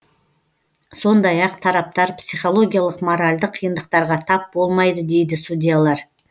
сондай ақ тараптар психологиялық моральдық қиындықтарға тап болмайды дейді судьялар